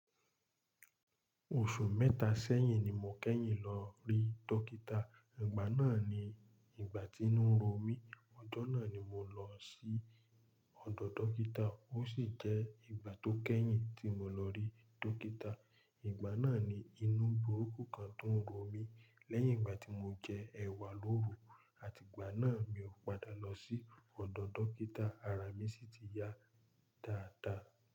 Oṣù mẹ́ta sẹ́yìn ni mo kẹ́yìn lọ rí dọ́kítà. Ìgbà náà ni ìgbà tí inú ń ro mí. Ọjọ́ náà ni mo lọ sí ọ̀dọ̀ dọ́kítà. Ó sì jẹ́ ìgbà tó kẹ́yìn tí mo lọ rí dọ́kítà. Ìgbà náà ni inú burúkú kan tún ń ro mí lẹ́yìn ìgbà tí mo jẹ ẹ̀wà lóru, àti ìgbà náà mi ò padà lọ sí ọ̀dọ̀ dọ́kítà, ara mi sì ti ya dáadáa.